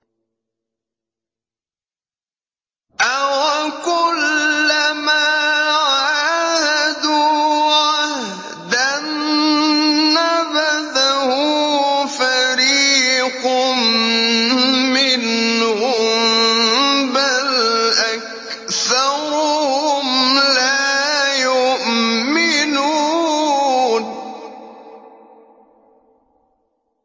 أَوَكُلَّمَا عَاهَدُوا عَهْدًا نَّبَذَهُ فَرِيقٌ مِّنْهُم ۚ بَلْ أَكْثَرُهُمْ لَا يُؤْمِنُونَ